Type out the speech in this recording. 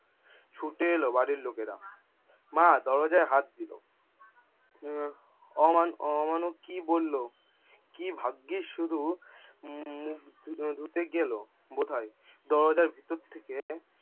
ছুটে এলো বাড়ির লোকেরা মা দরজায় হাত দিল। উম ওমান অমানব কি বললো? কী ভাগ্যিস শুধু উম মুখ ধুতে গেলো বোধোয়। দরজার ভিতর থেকে